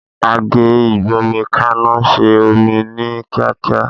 Àgé ìgbómikaná se omí ní kíákíá